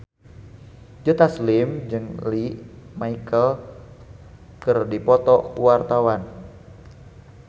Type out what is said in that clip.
Joe Taslim jeung Lea Michele keur dipoto ku wartawan